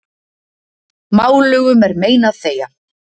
Málugum er mein að þegja.